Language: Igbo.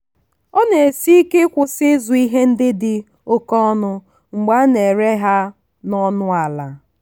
ọ na-esi ike ịkwụsị ịzụ ihe ndị dị oke ọnụ mgbe a na-ere ha n'ọnụ ala.